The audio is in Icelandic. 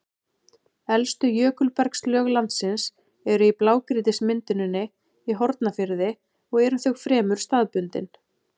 Elstu jökulbergslög landsins eru í blágrýtismynduninni í Hornafirði og eru þau fremur staðbundin.